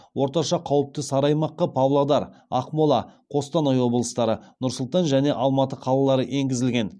орташа қауіпті сары аймаққа павлодар ақмола қостанай облыстары нұр сұлтан және алматы қалалары енгізілген